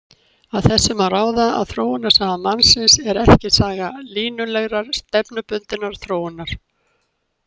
Af þessu má ráða að þróunarsaga mannsins er ekki saga línulegrar, stefnubundinnar þróunar.